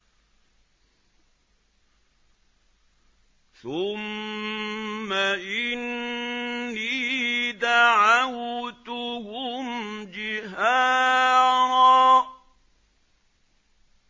ثُمَّ إِنِّي دَعَوْتُهُمْ جِهَارًا